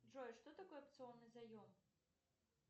джой что такое опционный заем